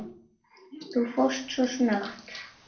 Þú fórst svo snöggt.